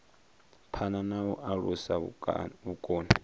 phana na u alusa vhukoni